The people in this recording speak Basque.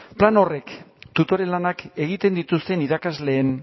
plan horrek tutore lanak egiten dituzten irakasleen